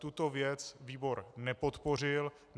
Tuto věc výbor nepodpořil.